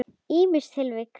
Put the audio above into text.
Ýmis tilvik.